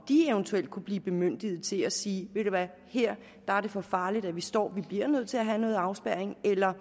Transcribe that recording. eventuelt kunne blive bemyndiget til at sige at her er det for farligt at stå og vi bliver nødt til at have noget afspærring eller